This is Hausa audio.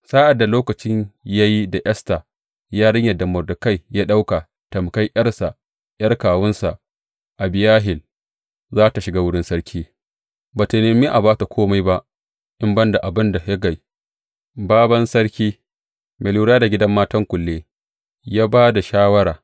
Sa’ad da lokaci ya yi da Esta yarinyar da Mordekai ya ɗauka tamƙar ’yarsa, ’yar kawunsa Abihayil za tă shiga wurin sarki, ba tă nemi a ba ta kome ba in ban da abin da Hegai, bābān sarki mai lura da gidan matan kulle, ya ba da shawara.